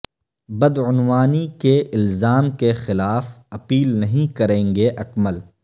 بدعنوانی کے الزام کے خلاف اپیل نہیں کریں گے اکمل